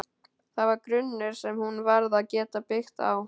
Það var grunnur sem hún varð að geta byggt á.